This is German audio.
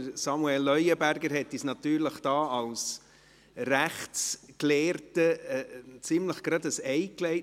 Samuel Leuenberger hat uns als Rechtsgelehrter ein ziemliches Ei gelegt.